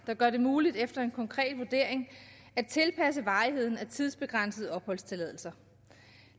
der gør det muligt efter en konkret vurdering at tilpasse varigheden af tidsbegrænsede opholdstilladelser